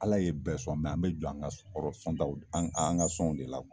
Ala ye bɛɛ sɔn an be jɔ an ka taw an ka sɔnw de la